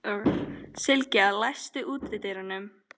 Sylgja, læstu útidyrunum.